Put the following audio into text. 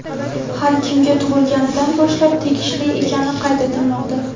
har kimga tug‘ilganidan boshlab tegishli ekani qayd etilmoqda.